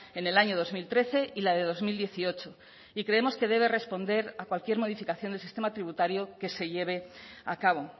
en el año dos mil trece y la de dos mil dieciocho y creemos que debe responder a cualquier modificación del sistema tributario que se lleve a cabo